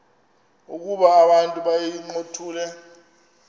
ukuba abantu bayincothule